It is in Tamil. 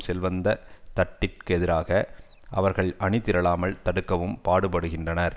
செல்வந்த தட்டிற்கெதிராக அவர்கள் அணிதிரளாமல் தடுக்கவும் பாடுபடுகின்றனர்